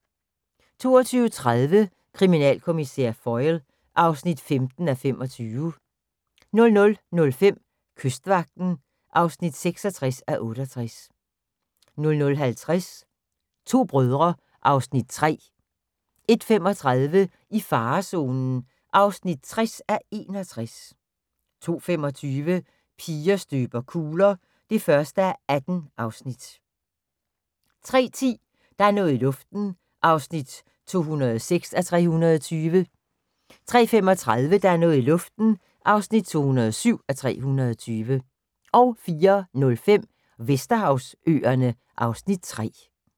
22:30: Kriminalkommissær Foyle (15:25) 00:05: Kystvagten (66:68) 00:50: To brødre (Afs. 3) 01:35: I farezonen (60:61) 02:25: Piger støber kugler (1:18) 03:10: Der er noget i luften (206:320) 03:35: Der er noget i luften (207:320) 04:05: Vesterhavsøerne (Afs. 3)